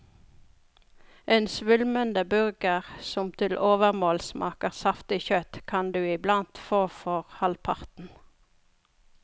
En svulmende burger, som til overmål smaker saftig kjøtt, kan du iblant få for halvparten.